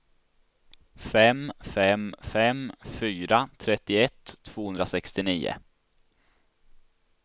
fem fem fem fyra trettioett tvåhundrasextionio